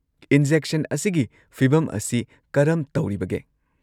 Injection ꯑꯁꯤꯒꯤ ꯐꯤꯚꯝ ꯑꯁꯤ ꯀꯔꯝ ꯇꯧꯔꯤꯕꯒꯦ?